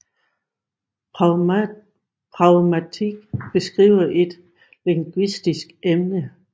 Pragmatik beskriver her et lingvistisk emne